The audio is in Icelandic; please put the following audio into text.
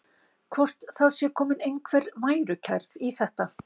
Hvort það sé komin einhver værukærð í þetta?